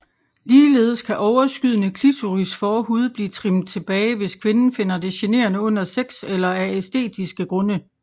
Ligeledes kan overskydende klitorisforhud blive trimmet tilbage hvis kvinden finder det generende under sex eller af æstetisk grunde